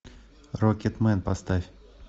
рокетмен поставь